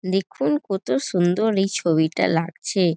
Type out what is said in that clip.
দেখুন কত সুন্দর এই ছবিটা লাগছে।